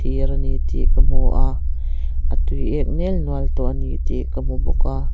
thir a ni tih ka hmu a a tuiek nel nual tawh a ni tih ka hmu bawk a.